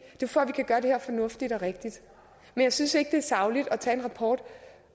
for at vi kan gøre det her fornuftigt og rigtigt men jeg synes ikke det er sagligt at tage en rapport